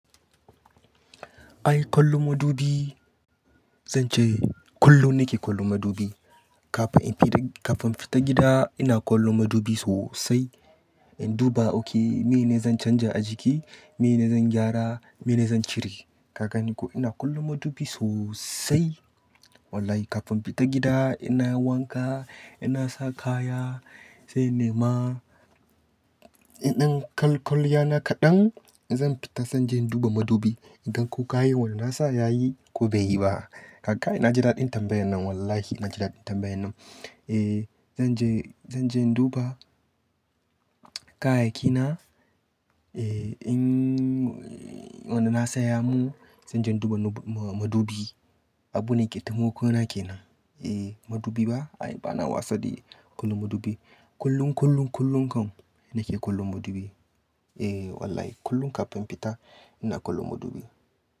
Ai kallo madubi, zan ce kullum nake kallo madubi. Kafin in fita gida, ina kallo madubi sosai in duba oke, mene zan canja a jiki, mene zan gyara, mene zan cire. Kaga ni ko ina kollon madubi sosai. Wallai kafin in fita gida in nayi wanka in na sa kaya sai in nema in dan kal-- kwalliya na kaɗan zan fita sai inje in duba madubi in gan ko kayan wanda na sa yayi ko bai yi ba. Ka kai naji dadin tambayannan wallahi naji dadin tambayannan. Eh zan je, zan je in duba kayayyaki na. Eh in wanda na sa ya mun sai in je in duba na madubi. Abune ke taimakona kenan. Eh madubi ba ai bana wasa de kallon madubi. Kullum, kullum, kullum kam nake kallon madubi. Eh wallahi kullum kafin fita ina kallo madubi.